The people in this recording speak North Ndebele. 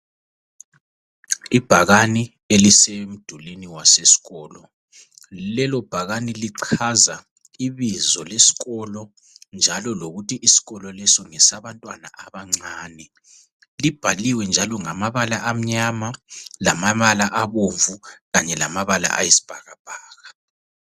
Ibhakani elisemdulini waseskolo. Lelo bhakani lichaza ibizo leskolo njalo lokuthi iskolo leso ngesabantwana abancane. Libhaliwe njalo ngamabala amnyama, lamabala abomvu kanye lamabala ayisbhakabhaka.